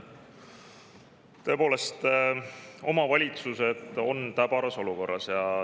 Tõepoolest, omavalitsused on täbaras olukorras.